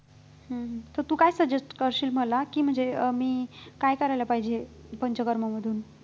हम्म तर तू काय suggest करशील मला की म्हणजे अं मी काय करायला पाहिजे पंचकर्ममधून